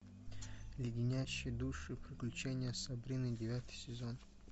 леденящие душу приключения сабрины девятый сезон